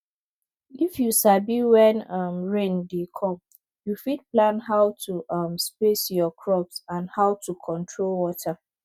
if you sabi when um rain dey come you fit plan how to um space your crops and how to control water